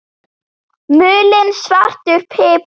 Mulinn svartur pipar